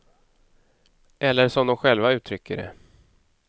Eller som de själva uttrycker det.